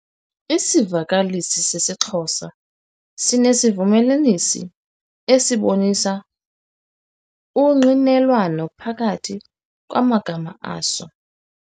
Isivakalisi sesiXhosa sinesivumelanisi esibonisa ungqinelwano phakathi kwamagama aso.